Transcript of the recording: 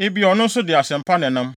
“Ebia na ɔno nso de asɛm pa na ɛnam.”